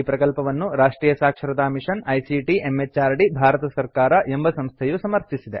ಈ ಪ್ರಕಲ್ಪವನ್ನು ರಾಷ್ಟ್ರಿಯ ಸಾಕ್ಷರತಾ ಮಿಷನ್ ಐಸಿಟಿ ಎಂಎಚಆರ್ಡಿ ಭಾರತ ಸರ್ಕಾರ ಎಂಬ ಸಂಸ್ಥೆಯು ಸಮರ್ಥಿಸಿದೆ